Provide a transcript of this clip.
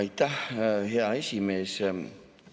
Aitäh, hea esimees!